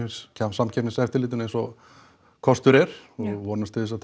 Samkeppniseftirlitinu eins og kostur er og vonumst til þess að